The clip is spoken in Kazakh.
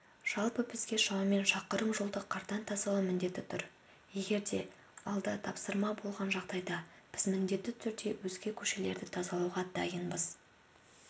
жалпы бізге шамамен шақырым жолды қардан тазалау міндеті тұр егерде алда тапсырма болған жағдайда біз міндетті түрде өзге көшелерді тазалауға дайынбыз